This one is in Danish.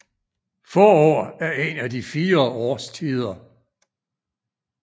Forår er en af de fire årstider